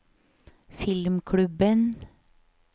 filmklubben